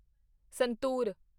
ਸੰਤੂਰ